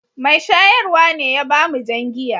Mai shayarwa ne ya ba mu jan giya.